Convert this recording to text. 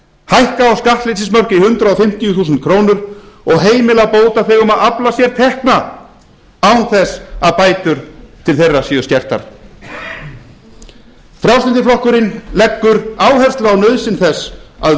hækka á skattleysismörk í hundrað fimmtíu þúsund krónur og heimila bótaþegum að afla sér tekna án þess að bætur til þeirra séu skertar frjálslyndi flokkurinn leggur áherslu á nauðsyn þess að